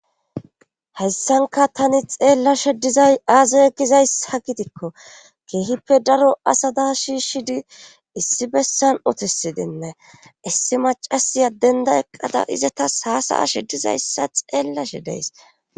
Hessanka tani xeellashe dizay aazay gizays ha gitikko keehippe daro asada shi shi di issi bessan otisi dinne issi macasiya denda eqqada iza tas haasa7ashe dizayssa xeellashe deys.